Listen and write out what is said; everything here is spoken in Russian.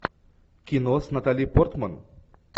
кино с натали портман